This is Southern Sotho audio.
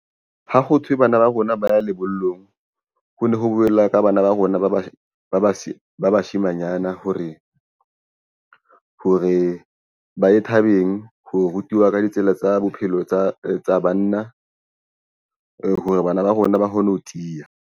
Ha ho thwe bana ba rona ba ya lebollong ho ne ho bolellwa ka bana ba rona ba bashimanyana hore ba ye thabeng. Ho rutiwa ka ditsela tsa bophelo tsa banna hore bana ba rona ba kgone ho tiya.